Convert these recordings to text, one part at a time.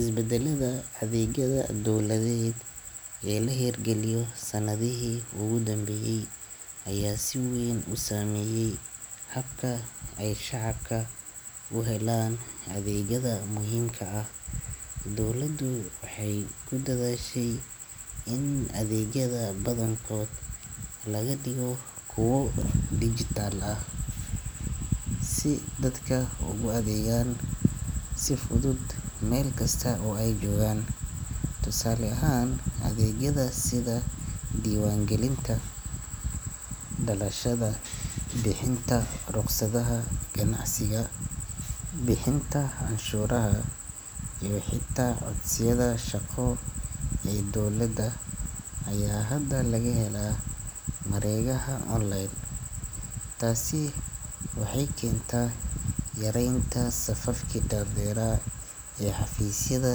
Isbedelada adeegyada dowladeed ee la hirgeliyey sanadihii ugu dambeeyey ayaa si weyn u saameeyey habka ay shacabka u helaan adeegyada muhiimka ah. Dowladdu waxay ku dadaashay in adeegyada badankood laga dhigo kuwo digital ah, si dadka ugu adeegan karaan si fudud meel kasta oo ay joogaan. Tusaale ahaan, adeegyada sida diiwaangelinta dhalashada, bixinta rukhsadaha ganacsiga, bixinta cashuuraha iyo xitaa codsiyada shaqo ee dowladda ayaa hadda laga helaa mareegaha online. Taasi waxay keentay yareynta safafkii dhaadheeraa ee xafiisyada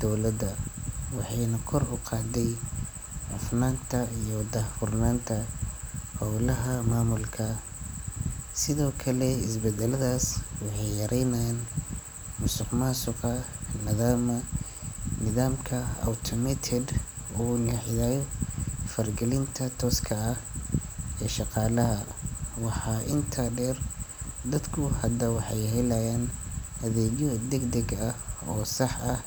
dowladda, waxayna kor u qaaday hufnaanta iyo daahfurnaanta howlaha maamulka. Sidoo kale, isbedeladaas waxay yaraynayaan musuqmaasuqa, maadaama nidaamka automated uu xaddidayo faragelinta tooska ah ee shaqaalaha. Waxaa intaa dheer, dadku hadda waxay helayaan adeegyo degdeg ah oo sax ah.